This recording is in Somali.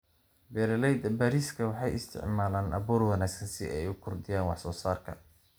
Beeralayda bariiska waxay isticmaalaan abuur wanaagsan si ay u kordhiyaan wax soo saarka.